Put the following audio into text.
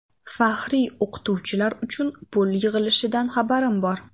Faxriy o‘qituvchilar uchun pul yig‘ilishidan xabarim bor.